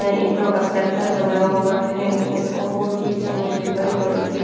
ईंटों का सर्कल बना हुआ है और पीछे मुझे बड़े बड़े पे--